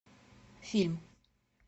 фильм